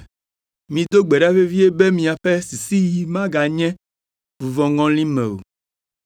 Mido gbe ɖa vevie be miaƒe sisiɣi meganye vuvɔŋɔli me o,